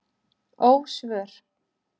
Ósvör